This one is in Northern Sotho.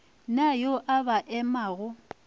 na yo a ba emago